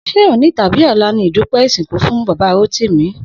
Sé òní tàbí ò̩la ni ìdúpé̩ ìsìnkú fún Bàbá Rótìmí?